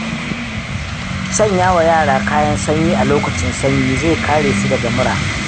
Sanyawa yara kayan sanyi a lokacin sanyi, zai kare su daga mura.